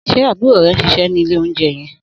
Sé àbúrò ré n síse ni ìlé ounjé yen?